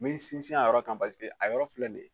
N bi sinsin a yɔrɔ kan. a yɔrɔ filɛ nin ye